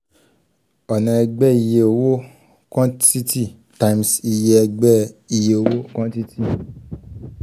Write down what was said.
ọna ẹgbẹ iye owo quantity times iye ẹgbẹ iye owo quantity